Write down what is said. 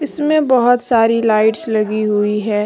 इसमें बहोत सारी लाइट्स लगी हुई है।